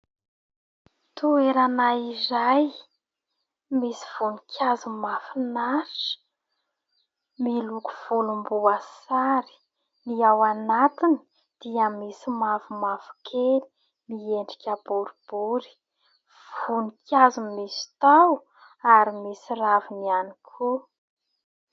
Toerana iray misy voninkazo mahafinatra, miloko volom-boasary ny ao anatiny, dia misy mavomavokely miendrika boribory, voninkazo misy taony ary misy raviny ihany koa.